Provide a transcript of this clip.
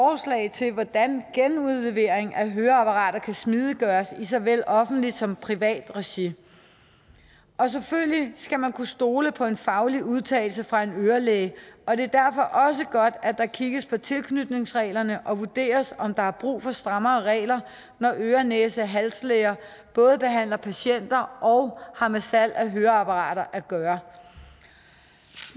til hvordan genudlevering af høreapparater kan smidiggøres i såvel offentligt som privat regi og selvfølgelig skal man kunne stole på en faglig udtalelse fra en ørelæge og det er derfor også godt at der kigges på tilknytningsreglerne og vurderes om der er brug for strammere regler når øre næse halslæger både behandler patienter og har med salg af høreapparater at gøre